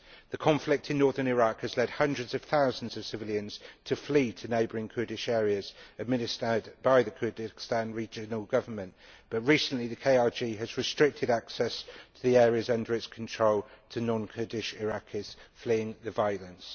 The conflict in northern Iraq has led hundreds of thousands of civilians to flee to neighbouring Kurdish areas administered by the Kurdistan Regional Government, but recently the KRG has restricted access to the areas under its control to non Kurdish Iraqis fleeing the violence.